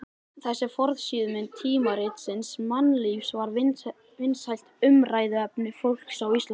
Þessi forsíðumynd tímaritsins Mannlífs var vinsælt umræðuefni fólks á Íslandi.